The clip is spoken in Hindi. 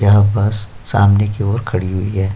यहाँ बस सामने की ओर खड़ी हुई है।